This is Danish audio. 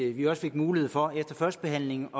at vi også fik mulighed for efter førstebehandlingen